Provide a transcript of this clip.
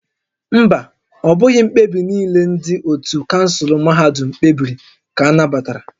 Mba, ọ bụghị mkpebi niile ndị ótú kansụl mahadum kpebiri ka a nabatara